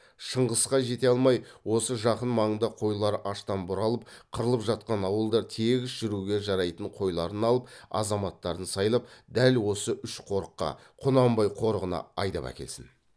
шыңғысқа жете алмай осы жақын маңда қойлар аштан бұралып қырылып жатқан ауылдар тегіс жүруге жарайтын қойларын алып азаматтарын сайлап дәл осы үш қорыққа құнанбай қорығына айдап әкелсін